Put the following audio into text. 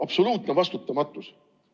Absoluutne vastutamatus.